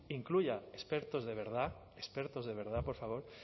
incluya expertos de verdad expertos de verdad por favor